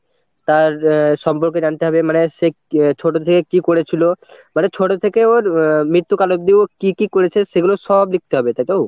তার সম্পর্কে জানতে হবে মানে সে ছোট থেকে কি করেছিল মানে ছোট থেকে ওর আহ মৃত্যু কাল অব্দি ও কি কি করেছে সেগুলো সব লিখতে হবে তাইতো?